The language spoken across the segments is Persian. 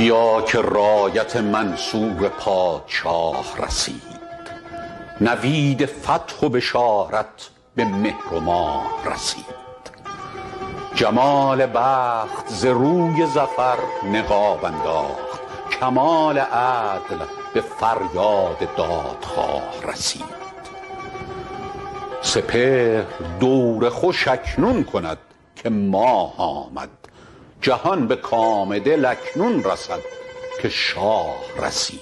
بیا که رایت منصور پادشاه رسید نوید فتح و بشارت به مهر و ماه رسید جمال بخت ز روی ظفر نقاب انداخت کمال عدل به فریاد دادخواه رسید سپهر دور خوش اکنون کند که ماه آمد جهان به کام دل اکنون رسد که شاه رسید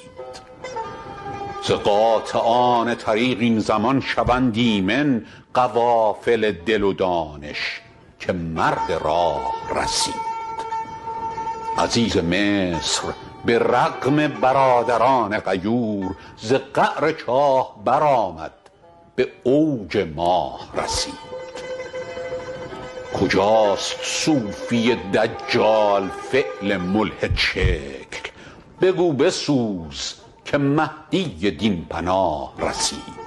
ز قاطعان طریق این زمان شوند ایمن قوافل دل و دانش که مرد راه رسید عزیز مصر به رغم برادران غیور ز قعر چاه برآمد به اوج ماه رسید کجاست صوفی دجال فعل ملحدشکل بگو بسوز که مهدی دین پناه رسید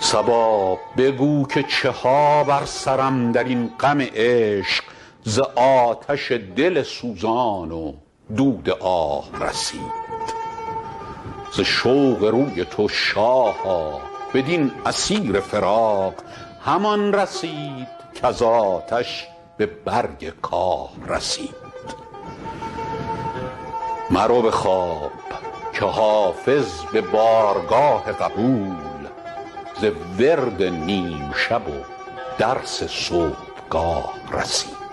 صبا بگو که چه ها بر سرم در این غم عشق ز آتش دل سوزان و دود آه رسید ز شوق روی تو شاها بدین اسیر فراق همان رسید کز آتش به برگ کاه رسید مرو به خواب که حافظ به بارگاه قبول ز ورد نیم شب و درس صبحگاه رسید